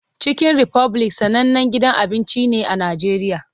Chicken Republic sanannen gidan abinci ne a Najeriya.